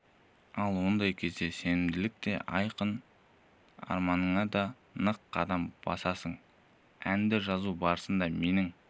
ал ондай кезде сенімділік те айқын арманыңа да нық қадам басасың әнді жазу барысында менің